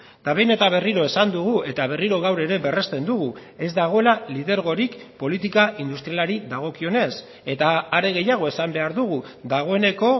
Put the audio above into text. eta behin eta berriro esan dugu eta berriro gaur ere berresten dugu ez dagoela lidergorik politika industrialari dagokionez eta are gehiago esan behar dugu dagoeneko